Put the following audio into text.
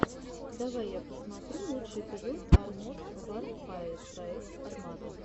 давай я посмотрю лучший эпизод арморд варфэер проект армата